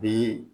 Bi